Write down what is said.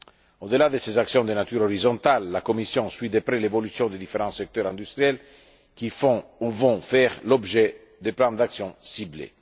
l'industrie. Au delà de ces actions de nature horizontale, la Commission suit de près l'évolution des différents secteurs industriels qui font ou vont faire l'objet de plans d'action